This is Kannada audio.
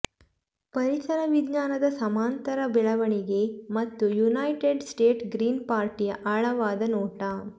ಪರಿಸರವಿಜ್ಞಾನದ ಸಮಾನಾಂತರ ಬೆಳವಣಿಗೆ ಮತ್ತು ಯುನೈಟೆಡ್ ಸ್ಟೇಟ್ಸ್ನ ಗ್ರೀನ್ ಪಾರ್ಟಿಯ ಆಳವಾದ ನೋಟ